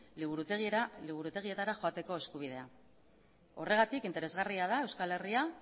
liburutegietara joateko eskubidea horregatik interesgarria da euskal herria